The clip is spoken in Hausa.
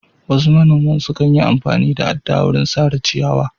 Wasu monaman sukan yi amfani da adda wurin sare ciyawa.